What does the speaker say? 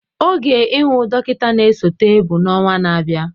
Oge ihu dọkịta na-esote bụ na ọnwa na-abịa.